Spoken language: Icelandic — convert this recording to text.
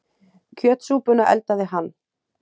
Kjötsúpuna eldaði hann.